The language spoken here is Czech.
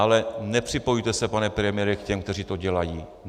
Ale nepřipojujte se, pane premiére, k těm, kteří to dělají.